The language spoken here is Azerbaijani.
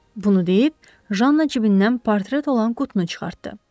Bunu deyib Janna cibindən parıldayan qutunu çıxartdı.